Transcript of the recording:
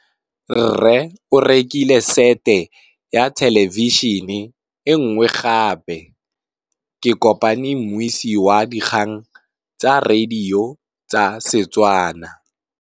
Rre o rekile sete ya thêlêbišênê e nngwe gape. Ke kopane mmuisi w dikgang tsa radio tsa Setswana.